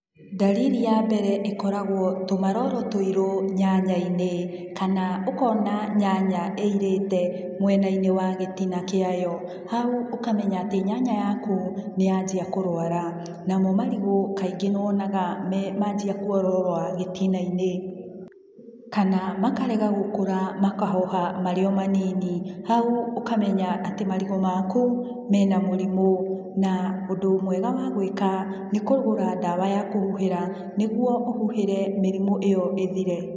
Ndariri ya mbere ĩkoragwo tũmaroro tũirũ nyanyainĩ kana ũkona nyanya ĩirĩte mwenainĩ wa gĩtina kiayo, hau ũkamenya atĩ nyanya yaku niyanjia kũrwara namo marigũ kaingĩ nĩwonaga me manjia kuororoa gĩtinainĩ kana makarega gũkũra makahoha marĩo manini hau ũkamenya atĩ marigũ maku mena mũrimũ na ũndũ mwega wa gwĩka nĩ kũgũra ndawa ya kũhuhĩra nĩguo ũhuhĩre mĩrimũ ĩyo ĩthire.